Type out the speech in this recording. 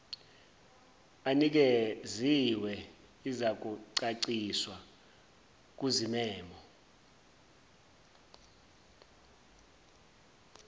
anikeziwe izakucaciswa kuzimemo